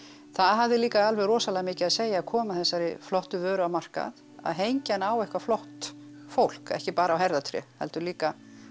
það hafði líka rosalega mikið að segja að koma þessari flottu vöru á markað að hengja hana á eitthvað flott fólk ekki bara á herðatré heldur líka